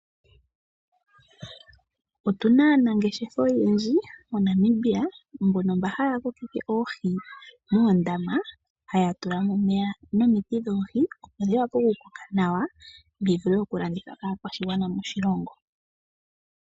Otuna aanangeshefa oyendji moNamibia .Mboka haya kokeke oohi moondama haya tula mo omeya nomiti dhoohi opo dhi vulule oku koka nawa dhi vule okulandithwa kakwaashigwana moshilongo.